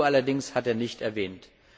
Die EU allerdings hat er nicht erwähnt.